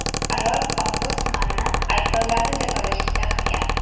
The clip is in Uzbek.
Ayol ombudsmanni aybdorlarni jazolashga chaqirgan.